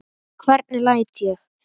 Hvernig læt ég.